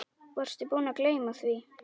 Varstu búinn að gleyma því?